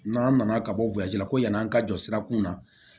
N'an nana ka bɔ la ko yann'an ka jɔ sirakun na